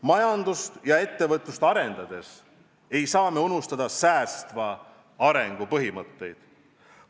Majandust ja ettevõtlust arendades ei tohi unustada säästva arengu põhimõtteid.